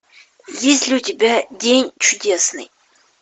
есть ли у тебя день чудесный